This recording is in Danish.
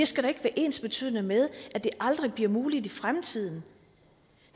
skal være ensbetydende med at det aldrig bliver muligt i fremtiden